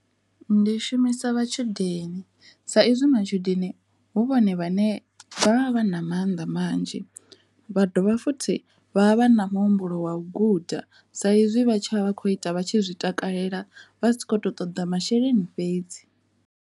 Ndi shumisa matshudeni sa izwi matshudeni hu vhone vhane vha vha vha na mannḓa manzhi vha dovha futhi vha vha vha na muhumbulo wa guda sa izwi vha tshi vha vha kho ita vha tshi zwi takalela vha si kho to ṱoḓa masheleni fhedzi.